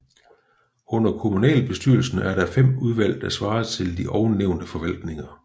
Under kommunalbestyrelsen er der 5 udvalg der svarer til de ovennævnte forvaltninger